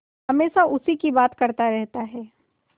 हमेशा उसी की बात करता रहता है